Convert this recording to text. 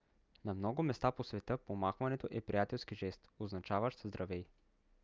на много места по света помахването е приятелски жест означаващ здравей